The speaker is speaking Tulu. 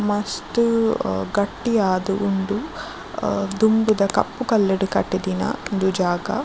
ಮಸ್ತ್ ಅ ಗಟ್ಟಿ ಆದ್ ಉಂಡು ಆ ದುಂಬುದ ಕಪ್ಪು ಕಲ್ಲುಡು ಕಟಿದಿನ ಉಂದು ಜಾಗ.